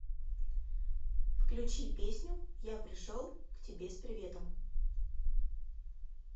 включи песню я пришел к тебе с приветом